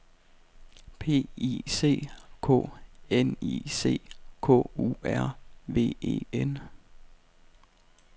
P I C K N I C K U R V E N